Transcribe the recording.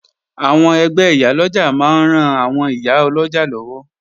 Àwọn ẹgbẹ́ Ìyálọ́jà máa ń ran àwọn ìyá ọlọ́jà lọ́wọ́